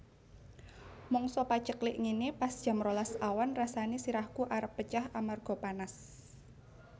Mangsa paceklik ngene pas jam rolas awan rasane sirahku arep pecah amarga panas